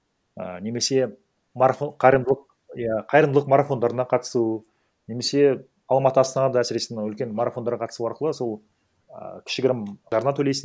і немесе марафон қайырымдылық иә қайырымдылық марафондарына қатысу немесе алматы астанада әсіресе мына үлкен марафондарға қатысу арқылы сол і кішігірім жарна төлейсің